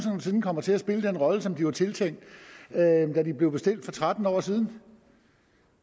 nogen sinde kommer til at spille den rolle som de var tiltænkt da de blev bestilt for tretten år siden